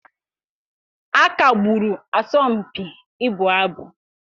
A kagburu asọmpi ịbụ abụ.